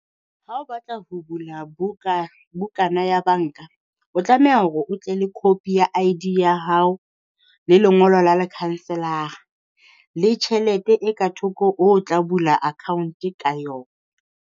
Ha o batla ho bula buka bukana ya banka, o tlameha hore o tle le copy ya I_D ya hao. Le lengolo la le counsellor-ra, le tjhelete e ka thoko o tla bula account ka yona.